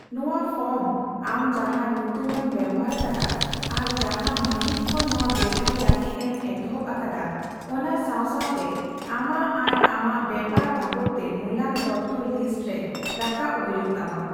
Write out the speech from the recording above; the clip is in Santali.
ᱱᱚᱣᱟ ᱯᱷᱚᱨᱢ ᱟᱢ ᱡᱟᱦᱟᱸ ᱧᱩᱛᱩᱢ ᱮᱢ ᱵᱮᱵᱷᱟᱨ ᱟᱠᱟᱫᱟ ᱟᱨ ᱡᱟᱦᱟᱸ ᱢᱟᱦᱤᱛ ᱠᱷᱚᱱ ᱱᱚᱣᱟ ᱵᱮᱵᱷᱟᱨ ᱞᱟᱹᱜᱤᱫ ᱮᱢ ᱮᱛᱚᱦᱚᱵ ᱟᱠᱟᱫᱟ ᱚᱱᱟ ᱥᱟᱣ ᱥᱟᱣᱛᱮ ᱟᱢᱟᱜ ᱟᱨ ᱟᱢᱟᱜ ᱵᱮᱯᱟᱨ ᱵᱟᱵᱚᱫᱽᱛᱮ ᱢᱩᱞᱟᱱ ᱛᱚᱛᱛᱷᱚ ᱞᱤᱥᱴᱨᱮ ᱨᱟᱵᱟᱵ ᱦᱳᱭᱳᱜ ᱛᱟᱢᱟ ᱾